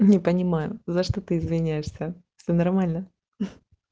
не понимаю за что ты извиняешься все нормально